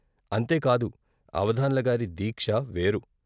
అంతేకాదు అవధాన్ల గారి దీక్ష వేరు.